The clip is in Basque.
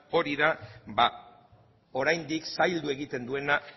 hori da oraindik zaildu egiten duena